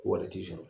Wari ti sɔrɔ